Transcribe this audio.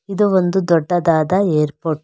ಇದು ಒಂದು ದೊಡ್ಡದಾದ ಏರ್ಪೋರ್ಟ್ .